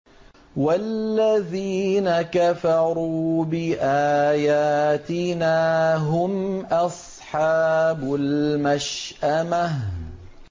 وَالَّذِينَ كَفَرُوا بِآيَاتِنَا هُمْ أَصْحَابُ الْمَشْأَمَةِ